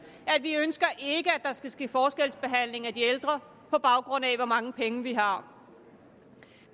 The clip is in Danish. at vi ikke ønsker at der skal ske forskelsbehandling af de ældre på baggrund af hvor mange penge de har